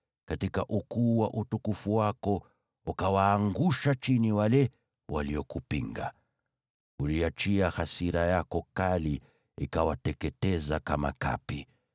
Katika ukuu wa utukufu wako, ukawaangusha chini wale waliokupinga. Uliachia hasira yako kali, ikawateketeza kama kapi.